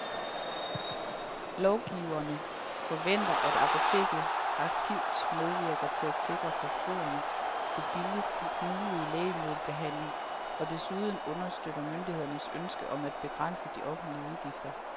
Lovgiverne forventer, at apoteket aktivt medvirker til at sikre forbrugerne den billigst mulige lægemiddelbehandling og desuden understøtter myndighedernes ønske om at begrænse de offentlige udgifter.